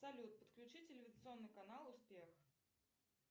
салют подключи телевизионный канал успех